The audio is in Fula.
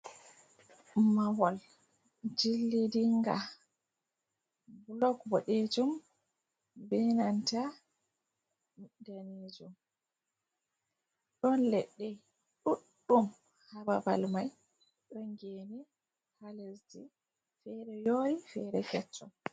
Mahol jillidinga blok boɗejum be nanta danejum ɗon leɗɗe ɗuɗɗum ha babal mai ɗon geni ha lesdi fere yori fere kecchum.